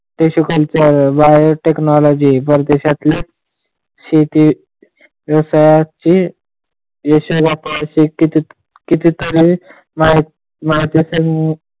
कृषी क्षेत्रातली wire technology, परदेशातले शेती, व्यवसाय चे असे किती तरी माहिती असेल.